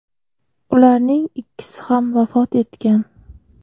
Ularning ikkisi ham vafot etgan.